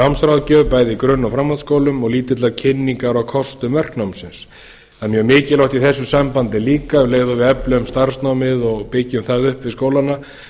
námsráðgjöf bæði í grunn og framhaldsskólum og lítillar kynningar á kostum verknámsins það er mjög mikilvægt í þessu sambandi líka um leið og við eflum starfsnámið og byggjum það upp við skólana